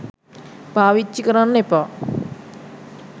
පාවිච්චි කරන්න එපා